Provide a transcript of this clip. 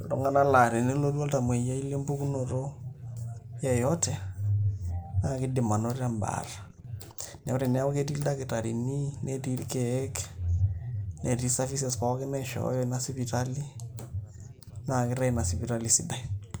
iltung'anak laa tenelotu oltamuoyiai lempukunoto yeyote naa kiidim anoto embaata neeku teneeku ketii ildakitarini netii irkeek netii services pookin naishooyo ina sipitali naa kitaa ina sipitali sidai.